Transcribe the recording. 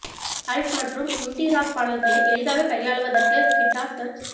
Alt மற்றும் indie rock பாடல்களை எளிதாகக் கையாளுவதற்கு கிட்டார் சர்ட்ஸ்